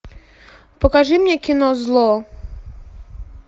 покажи мне кино зло